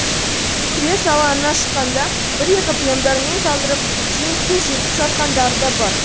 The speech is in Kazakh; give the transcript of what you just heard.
күрес алаңына шыққанда бір екі премдармен талдырып жеңіске жетіп жатқандары да бар